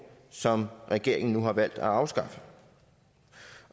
som regeringen nu har valgt at afskaffe